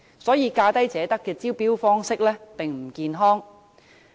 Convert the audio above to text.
所以，"價低者得"的招標方式並不健康。